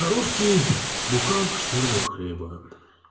русский буханку чёрного хлеба